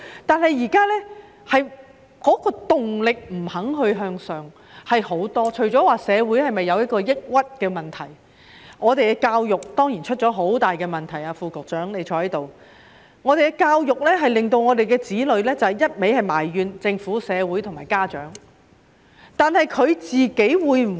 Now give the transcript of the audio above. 但是，現在很多人欠缺向上的動力，究其原因，除了社會出現抑鬱的問題，我們的教育當然也出現很大問題——我看到副局長在席——香港的教育令我們的子女只懂得埋怨政府、社會和家長。